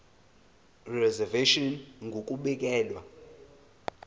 reservation ngur ukubekelwa